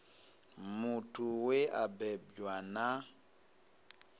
muthu we a bebwa na